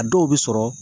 A dɔw bɛ sɔrɔ